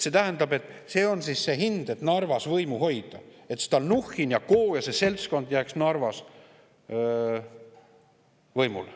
See tähendab, et see on see hind, et Narvas võimu hoida, et Stalnuhhin & Co ja see seltskond jääks Narvas võimule.